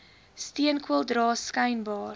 steenkool dra skynbaar